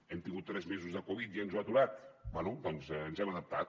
hem tingut tres mesos de covid i ens ho ha aturat bé doncs ens hem adaptat